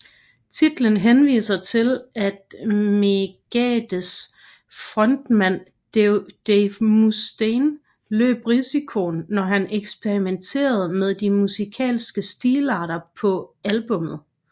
Titlen henviser til at Megadeths frontmand Dave Mustaine løb risikoen når han eksperimenterede med de musikalske stilarter på albummet